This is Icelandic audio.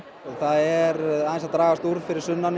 það er aðeins að dragast úr fyrir sunnan